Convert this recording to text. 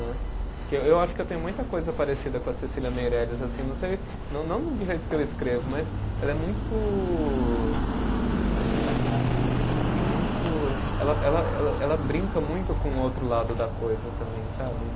Que eu eu acho que eu tenho muita coisa parecida com a Cecília Meirelles assim, não sei, não não do jeito que eu escrevo, mas ela é muito, assim é muito. Ela ela ela, ela brinca muito com o outro lado da coisa também, sabe?